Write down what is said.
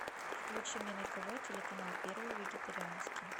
включи мне на тв телеканал первый вегетарианский